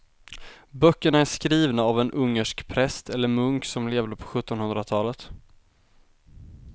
Böckerna är skrivna av en ungersk präst eller munk som levde på sjuttonhundratalet.